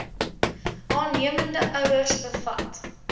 aannemende ouers bevat